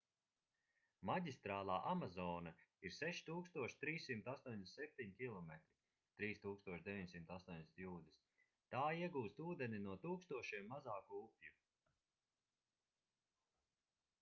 maģistrālā amazone ir 6387 km 3980 jūdzes. tā iegūst ūdeni no tūkstošiem mazāku upju